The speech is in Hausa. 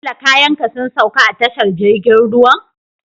Bello kayan ka sun sauka a tashar jirgin ruwan?